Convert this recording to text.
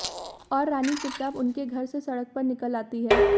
और रानी चुपचाप उन के घर से सड़क पर निकल आती है